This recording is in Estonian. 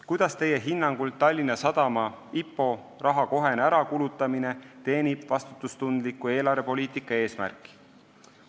Kuidas teie hinnangul Tallinna Sadama IPO raha kohene ärakulutamine teenib vastutustundliku eelarvepoliitika eesmärki?